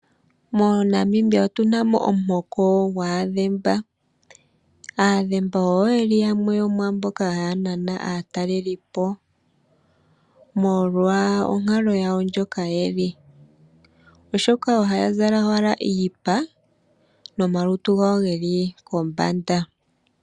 MoNamibia otuna mo omuhoko gwaAdhemba. Aadhemba oyo yeli yamwe yomwaamboka haya nana aataleli omolwa onkalo yawo ndjoka yeli. Oshoka ohaya zala owala iipa nomalutu gawo geli kombanda.